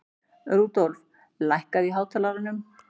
Rudolf, lækkaðu í hátalaranum.